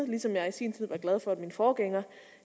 ligesom jeg i sin tid var glad for at min forgænger